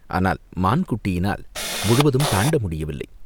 ஆனால் மான்குட்டியினால் முழுவதும் தாண்ட முடியவில்லை.